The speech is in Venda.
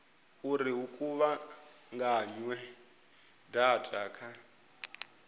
uri hu kuvhunganywe data kha